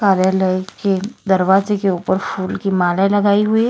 कार्यालय के दरवाजे के ऊपर फूल की माले लगाई हुई है।